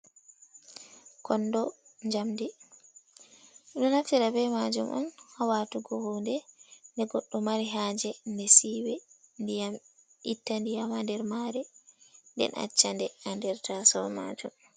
Kondo jamdi, ɓeɗo naftira be majum on ha watugo huude de goɗɗo mari ha je nde siwe itta ndiyam ha nder mare nden accha nde ha nɗer ta so majum.